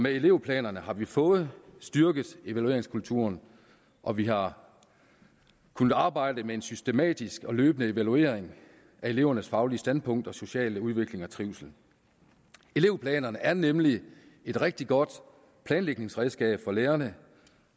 elevplanerne har vi fået styrket evalueringskulturen og vi har kunnet arbejde med en systematisk og løbende evaluering af elevernes faglige standpunkt og sociale udvikling og trivsel elevplanerne er nemlig et rigtig godt planlægningsredskab for lærerne